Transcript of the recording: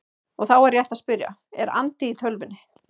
Og þá er rétt að spyrja: Er andi í tölvunni?